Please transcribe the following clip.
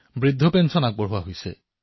বৃদ্ধাৱস্থা pension জাৰি কৰা হৈছে